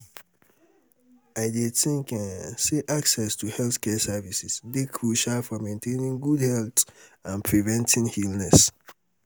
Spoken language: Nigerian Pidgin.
i dey think um say access to healthcare services dey crucial for maintaining good health and preventing illnesses.